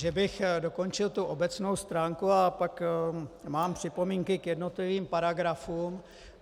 Že bych dokončil tu obecnou stránku a pak mám připomínky k jednotlivým paragrafům.